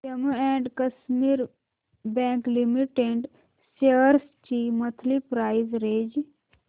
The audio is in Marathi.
Jammu and Kashmir bank limited shares ची मंथली प्राइस रेंज